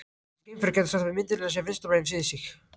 Þessi geimfari gæti sagt að myndavélin sé vinstra megin við sig.